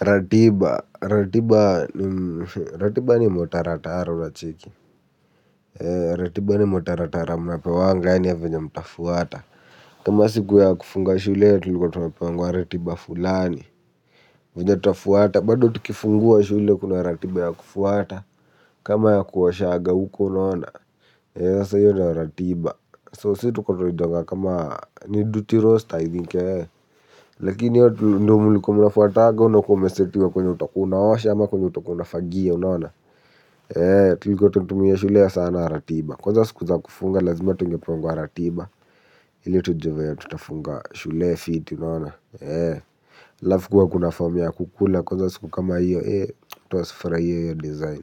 Ratiba ni mtaratara unacheki ratiba ni mtaratara munapewa ya venye mtafuata kama siku ya kufunga shule ya tulikuwa tunapewa ratiba fulani venye tafuata bado tukifungua shule kuna ratiba ya kufuata kama ya kuosha huko unaona sasa hiyo ndiyo ratiba so sisi tuko tunaita kama ni duty roaster i think. Lakini hiyo ndiyo mlikuwa munafuata unakuwa umesetiwa kwenye utakuwa na osha ama kwenye utakuwa unafagia unaona. Tulikuwa tunatumia shule sana ratiba. Kwanza siku za kufunga lazima tungefunguwa ratiba ili tujue vile tutafunga shule fiti unaona alafu kuwa kuna form ya kukula kwanza siku kama hiyo watu wasifurahie hiyo design.